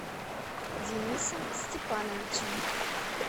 денисом степановичем